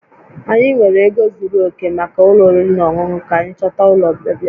Anyị enweghị ego zuru oke maka ụlọ oriri na ọṅụṅụ, ka anyị chọta ụlọ ọbịa